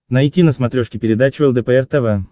найти на смотрешке передачу лдпр тв